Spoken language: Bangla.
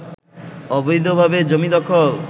অবৈধভাবে জমি দখল